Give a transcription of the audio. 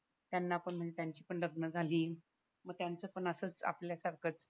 त्यांना पण म्हणजे त्यांची पण लग्न झाली मग त्यांचं पण असंच आपल्या सारखं